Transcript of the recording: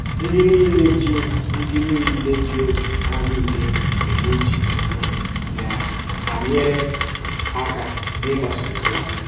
Ndị niile jí Ndị niile jí òbì hà niile emè ùchè Chúkwù na-ànyèrè àkà n’ígbàsà òzì ọ́mà.